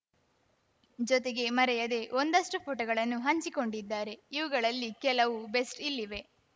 ಜೊತೆಗೆ ಮರೆಯದೇ ಒಂದಷ್ಟುಫೋಟೋಗಳನ್ನೂ ಹಂಚಿಕೊಂಡಿದ್ದಾರೆ ಇವುಗಳಲ್ಲಿ ಕೆಲವು ಬೆಸ್ಟ್‌ ಇಲ್ಲಿವೆ